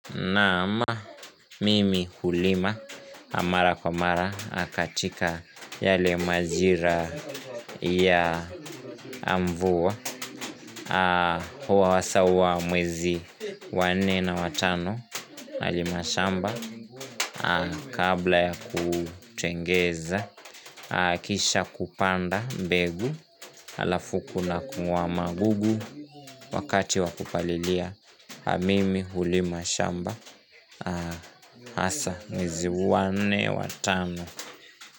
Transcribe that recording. Naam mimi hulima mara kwa mara katika yale majira ya mvua hasa huwa mwezi wa nne na wa tano pahali mashamba Kabla ya kutengeza kisha kupanda mbegu halafu kuna kung'oa magugu wakati wa kupalilia mimi hulima shamba, hasa, mwezi wa nne wa tano.